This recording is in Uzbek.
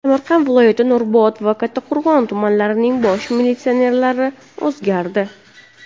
Samarqand viloyati Nurobod va Kattaqo‘rg‘on tumanlarining bosh militsionerlari o‘zgardi.